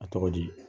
A tɔgɔ di